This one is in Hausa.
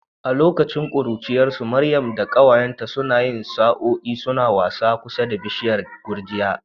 A lokacin ƙuruciyarsu, Maryamu da ƙawayenta suna yin sa'o'i suna wasa a kusa da bishiyar gurjiya.